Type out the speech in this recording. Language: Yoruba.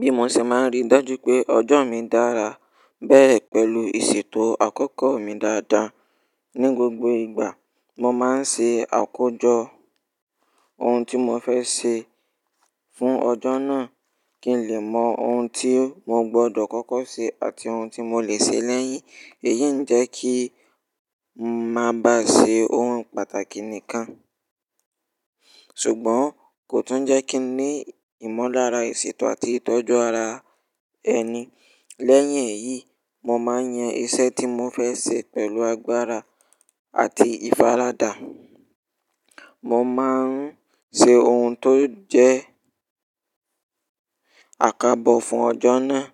Bí mo ṣe máa ń rí dájú pé ọjọ́ mi dára, bẹ̀rẹ̀ pẹ̀lú ìṣètò àkókò mi dáadáa. Ni gbogbo ìgbà, mo máa ń ṣe àkójọ ohun tí mo fẹ́ ṣe fún ọjọ́ náà kí n lè mọ ohun tí mo gbọdọ̀ kọ́kọ́ ṣe àti ohun tí mo lè ṣe lẹ́yìn. Èyí ń jẹ́ kí ń máa ba ṣe ohun pàtàkì nìkan, ṣùgbọ́n kò tún jẹ́ kí n ní ìmọ̀lára ìṣètò àti ìtọ́jú ara ẹni. Lẹ́yìn èyí, mo máa ń yan iṣẹ́ tí mo fẹ́ ṣe pẹ̀lú agbára àti ìfaradà. Mo máa ń ṣe ohun tó jẹ́ àkábọ fún ọjọ́ náà